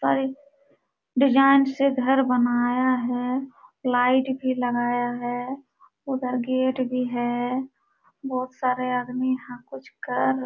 design से घर बनाया है लाइट भी लगाया है उधर गेट भी है बहुत सारे आदमी यहाँ कुछ कर --